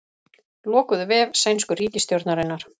Lokuðu vef sænsku ríkisstjórnarinnar